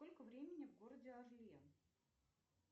сколько времени в городе орле